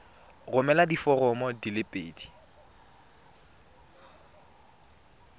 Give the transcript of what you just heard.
romela diforomo di le pedi